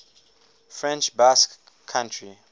french basque country